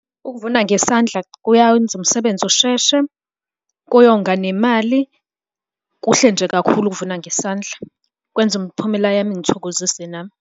Ukuvuna ngesandla kuyawenza umsebenzi usheshe, kuyonga nemali, kuhle nje kakhulu ukuvuna ngesandla. Kwenza umphumela yami ingithokozise nami.